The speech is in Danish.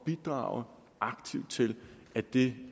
bidrage aktivt til at det